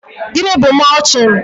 Gịnị bụ mọlching?